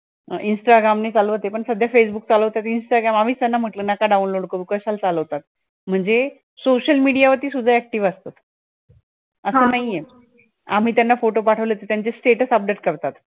instagram नाही चालवत ए पण सध्या facebook चालवतात instagram आम्हीच त्यांना म्हंटलं नका download करू कशाला चालवतात, म्हणजे social media वरती सुद्धा active असतात. अस नाहीये, आम्ही त्यांना photo पाठवले तर त्यांचे status update करतात